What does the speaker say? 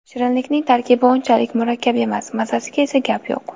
Shirinlikning tarkibi unchalik murakkab emas, mazasiga esa gap yo‘q.